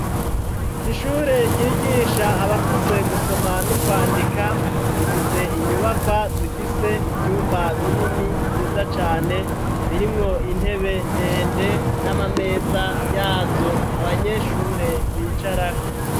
Ishure ryigisha abakuze gusoma n'ukwandika nifise inyubakwa zifise ivyumba binini vyiza cane birimwo intebe ndende n'amameza yazo abanyeshure bicarako.